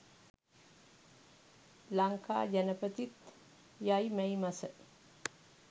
ලංකා ජනපතිත් යයි මැයි මස